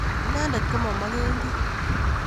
Inendet komomokeki